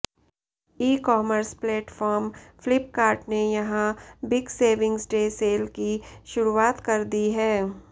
ई commerce platform Flipkart ने यहां big savings day sale की शुरुआत कर दी है